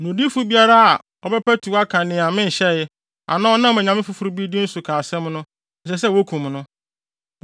Na odiyifo biara bɛpatuw aka nea menhyɛe, anaa ɔnam onyame foforo bi din so ka asɛm no, ɛsɛ sɛ wokum no.”